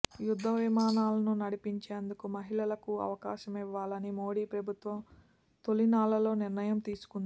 యుద్ధ విమానాలను నడిపేందుకు మహిళలకూ అవకాశమివ్వాలని మోదీ ప్రభుత్వం తొలి నాళ్లలో నిర్ణయం తీసుకుంది